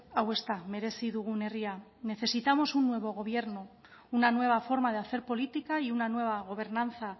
hau ez da merezi dugun herria necesitamos un nuevo gobierno una nueva forma de hacer política y una nueva gobernanza